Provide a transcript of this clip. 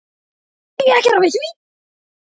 Hvað á ég að gera við því?